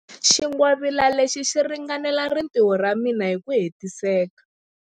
Xingwavila lexi xi ringanela rintiho ra mina hi ku hetiseka.